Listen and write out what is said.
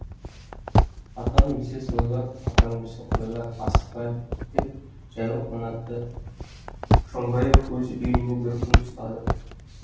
атан өлсе сойылар атаң өлсе қойылар асықпа деп жайлы қонақты шоңбаев өз үйіне бір күн ұстады